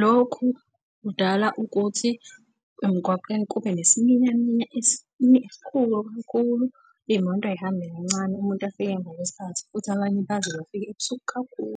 Lokhu kudala ukuthi emgwaqeni kube nesiminyaminya esikhulu kakhulu, iy'moto zihambe kancane umuntu afike emva kwesikhathi futhi abanye baze bafike ebusuku kakhulu.